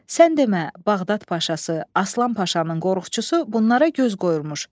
Sən demə, Bağdad paşası Aslan Paşanın qorxuçusu bunlara göz qoyurmuş.